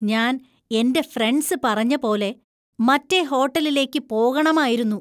ഞാൻ എന്‍റെ ഫ്രണ്ട്സ് പറഞ്ഞ പോലെ മറ്റേ ഹോട്ടലിലേക്ക് പോകണമായിരുന്നു.